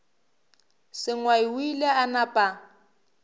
sengwai o ile a napa